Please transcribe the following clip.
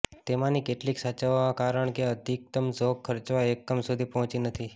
તેમાંની કેટલીક સાચવવામાં કારણ કે અધિકતમ ઝોક ખર્ચવા એકમ સુધી પહોંચી નથી